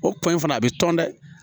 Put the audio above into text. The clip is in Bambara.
O ko in fana a bɛ tɔn dɛ